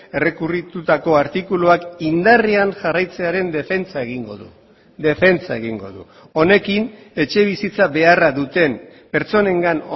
errekurritutako artikuluak indarrean jarraitzearen defentsa egingo du defentsa egingo du honekin etxebizitza beharra duten pertsonengan